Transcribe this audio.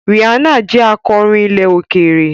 Rihanna jẹ́ akọrin ilẹ̀ òkèèrè.